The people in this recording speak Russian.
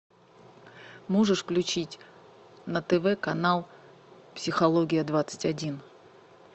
можешь включить на тв канал психология двадцать один